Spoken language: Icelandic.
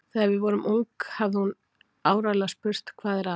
Þegar við vorum ung hefði hún áreiðanlega spurt: Hvað er að?